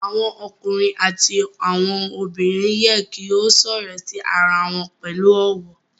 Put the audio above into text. Awọn ọkunrin ati awọn obinrin yẹ ki o sọrọ si ara wọn pẹlu ọwọ